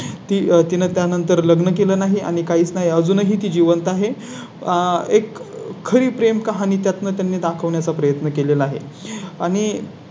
ती तीन त्यानंतर लग्न केलं नाही आणि काहीच नाही अजूनही जिवंत आहे आह एक खरी प्रेमकहाणी त्यातून त्यांनी दाखवण्या चा प्रयत्न केले ला आहे. आणि.